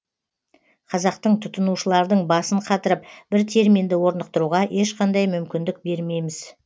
қазақтың тұтынушылардың басын қатырып бір терминді орнықтыруға ешқандай мүмкіндік бермейміз